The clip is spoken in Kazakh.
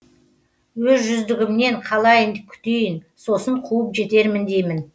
өз жүздігімнен қалайын күтейін сосын қуып жетермін деймін